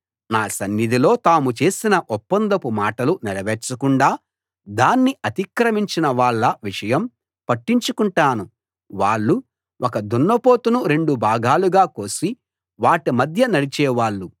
నా సన్నిధిలో తాము చేసిన ఒప్పందపు మాటలు నెరవేర్చకుండా దాన్ని అతిక్రమించిన వాళ్ళ విషయం పట్టించుకుంటాను వాళ్ళు ఒక దున్నపోతును రెండు భాగాలుగా కోసి వాటి మధ్య నడిచేవాళ్ళు